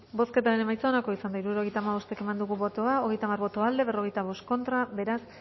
bozketaren emaitza onako izan da hirurogeita hamabost eman dugu bozka hogeita hamar boto aldekoa cuarenta y cinco contra beraz